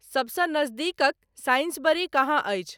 सबसे नज़दीकक साइंसबरी कहाँ अछि